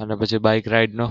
અને પછી bike ride નો?